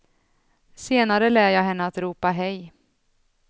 Senare lär jag henne att ropa hej.